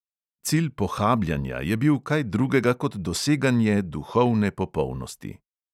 Cilj pohabljanja je bil kaj drugega kot doseganje duhovne popolnosti.